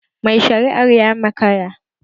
Mai shari'ar ya makara